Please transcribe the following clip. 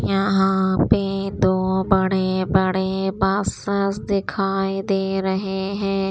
यहां पे दो बड़े बड़े बसेस दिखाई दे रहे हैं।